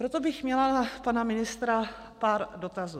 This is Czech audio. Proto bych měla na pana ministra pár dotazů.